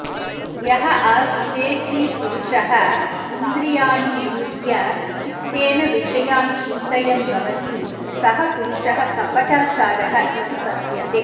यः अविवेकी पुरुषः इन्द्रियाणि निरुध्य चित्तेन विषयान् चिन्तयन् भवति सः पुरुषः कपटाचारः इति कथ्यते